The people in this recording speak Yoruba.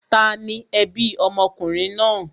Tani ẹbí ọmọkùnrin náà?